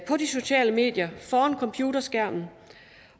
de sociale medier foran computerskærmen